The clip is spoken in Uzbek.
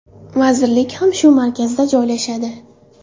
Vazirlik ham shu markazda joylashadi.